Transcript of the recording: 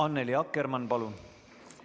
Annely Akkermann, palun!